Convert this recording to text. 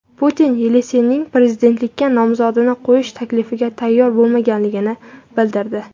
Putin Yelsinning prezidentlikka nomzodini qo‘yish taklifiga tayyor bo‘lmaganligini bildirdi.